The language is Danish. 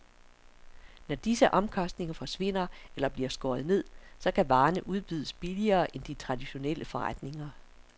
Når disse omkostninger forsvinder eller bliver skåret ned, så kan varerne udbydes billigere end i de traditionelle forretninger.